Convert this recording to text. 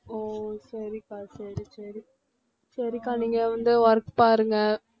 ஒ சரிக்கா சரி சரி சரிக்கா நீங்க வந்து work பாருங்க